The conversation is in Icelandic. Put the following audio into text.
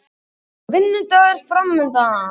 Og vinnudagur framundan.